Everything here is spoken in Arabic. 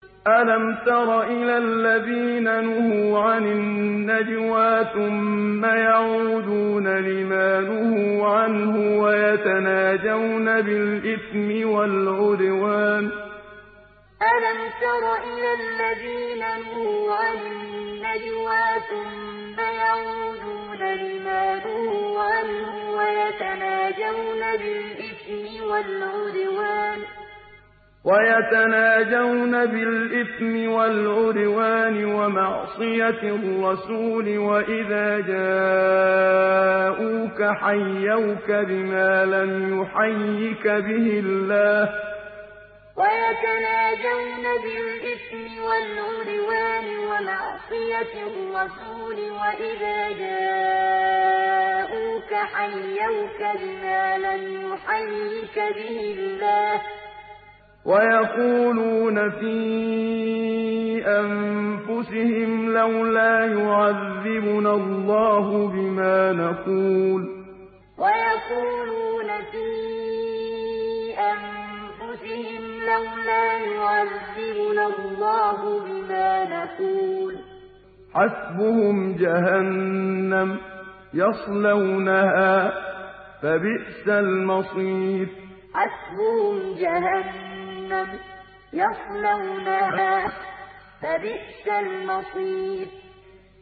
أَلَمْ تَرَ إِلَى الَّذِينَ نُهُوا عَنِ النَّجْوَىٰ ثُمَّ يَعُودُونَ لِمَا نُهُوا عَنْهُ وَيَتَنَاجَوْنَ بِالْإِثْمِ وَالْعُدْوَانِ وَمَعْصِيَتِ الرَّسُولِ وَإِذَا جَاءُوكَ حَيَّوْكَ بِمَا لَمْ يُحَيِّكَ بِهِ اللَّهُ وَيَقُولُونَ فِي أَنفُسِهِمْ لَوْلَا يُعَذِّبُنَا اللَّهُ بِمَا نَقُولُ ۚ حَسْبُهُمْ جَهَنَّمُ يَصْلَوْنَهَا ۖ فَبِئْسَ الْمَصِيرُ أَلَمْ تَرَ إِلَى الَّذِينَ نُهُوا عَنِ النَّجْوَىٰ ثُمَّ يَعُودُونَ لِمَا نُهُوا عَنْهُ وَيَتَنَاجَوْنَ بِالْإِثْمِ وَالْعُدْوَانِ وَمَعْصِيَتِ الرَّسُولِ وَإِذَا جَاءُوكَ حَيَّوْكَ بِمَا لَمْ يُحَيِّكَ بِهِ اللَّهُ وَيَقُولُونَ فِي أَنفُسِهِمْ لَوْلَا يُعَذِّبُنَا اللَّهُ بِمَا نَقُولُ ۚ حَسْبُهُمْ جَهَنَّمُ يَصْلَوْنَهَا ۖ فَبِئْسَ الْمَصِيرُ